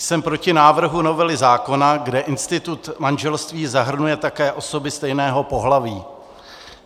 Jsem proti návrhu novely zákona, kde institut manželství zahrnuje také osoby stejného pohlaví.